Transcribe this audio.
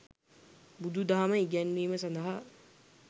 බුදු දහම ඉගැන්වීම සඳහා